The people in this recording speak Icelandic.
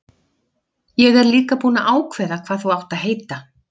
Ég er líka búinn að ákveða hvað þú átt að heita.